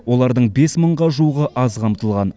олардың бес мыңға жуығы аз қамтылған